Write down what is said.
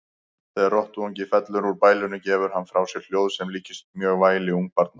Þegar rottuungi fellur úr bælinu gefur hann frá sér hljóð sem líkist mjög væli ungbarna.